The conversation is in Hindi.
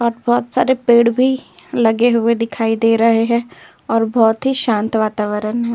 और बहोत सारे पेड़ भी लगे हुए दिखाई दे रहे हैं और बहोत ही शांत वातावरण है।